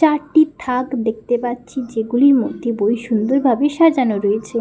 চারটি থাক দেখতে পাচ্ছি যে গুলির মধ্যে বই সুন্দরভাবে সাজানো রয়েছে।